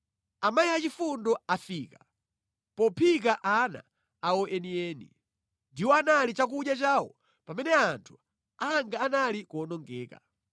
Amayi achifundo afika pophika ana awo enieni, ndiwo anali chakudya chawo pamene anthu anga anali kuwonongeka.